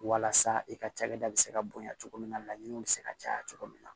Walasa i ka cakɛda bɛ se ka bonya cogo min na laɲiniw bɛ se ka caya cogo min na